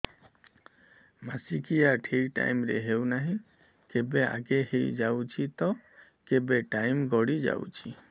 ମାସିକିଆ ଠିକ ଟାଇମ ରେ ହେଉନାହଁ କେବେ ଆଗେ ହେଇଯାଉଛି ତ କେବେ ଟାଇମ ଗଡି ଯାଉଛି